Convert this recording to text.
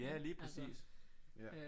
Ja lige præcis ja